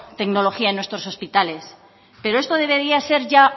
tecnología en nuestros hospitales pero esto debería ser ya